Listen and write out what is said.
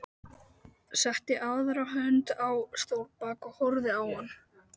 Setti aðra hönd á stólbak og horfði á hann.